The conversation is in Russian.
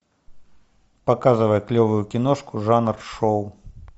показывай клевую киношку жанр шоу